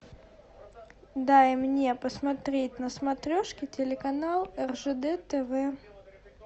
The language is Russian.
дай мне посмотреть на смотрешке телеканал ржд тв